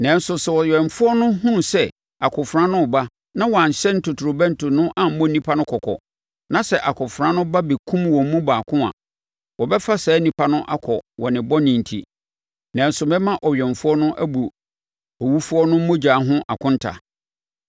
Nanso sɛ ɔwɛmfoɔ no hunu sɛ akofena no reba na wanhyɛne totorobɛnto no ammɔ nnipa no kɔkɔ, na sɛ akofena no ba bɛkum wɔn mu baako a, wɔbɛfa saa onipa no akɔ wɔ ne bɔne enti, nanso mɛma ɔwɛmfoɔ no abu owufoɔ no mogya ho akonta.’